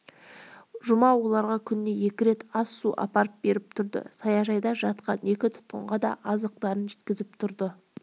жұма оларға күніне екі рет ас-су апарып беріп тұрды саяжайда жатқан екі тұтқынға да азықтарын жеткізіп тұрды